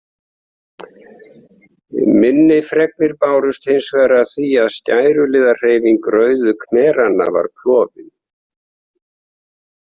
Minni fregnir bárust hins vegar af því að skæruliðahreyfing Rauðu khmeranna var klofin.